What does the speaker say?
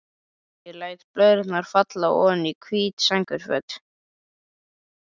Ég læt blöðrurnar falla oní hvít sængurfötin.